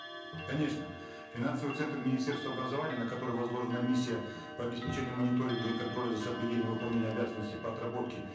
конечно финансовый центр министерства образования на который возложена миссия по обеспечению мониторинга и контроля за соблюдением выполнения обязанностей по отработке